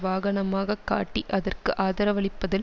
வாகனமாக காட்டி அதற்கு ஆதரவளிப்பதில்